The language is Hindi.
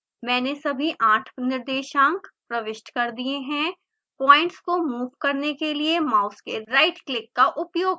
मैंने सभी आठ निर्देशांक प्रविष्ट कर दिए हैं प्वाइंट्स को मूव करने के लिए माउस के राइट क्लिक का उपयोग करें